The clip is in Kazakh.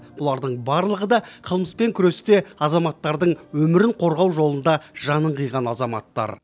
бұлардың барлығы да қылмыспен күресте азаматтардың өмірін қорғау жолында жанын қиған азаматтар